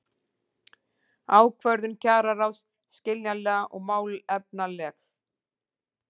Ákvörðun kjararáðs skiljanleg og málefnaleg